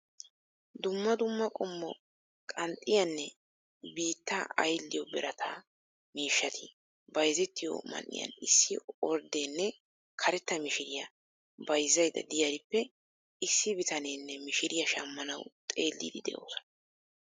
Dumma dumma qommo qanxxiyaanne biittaa aylliyo birata miishshati bayzettiyo man'iyan issi orddenne karetta mishiriya bayzaydda diyarippe issi bitanenne mishiriya shammanawu xeelliiddi de'oosona.